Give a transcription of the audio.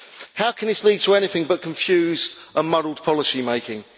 How can this lead to anything but confused and muddled policy-making?